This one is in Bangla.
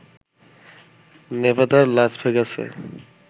নেভাদার লাস ভেগাসে